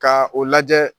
Ka o lajɛ